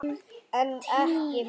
En ekki báðir.